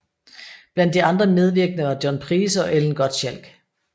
Blandt de andre medvirkende var John Price og Ellen Gottschalch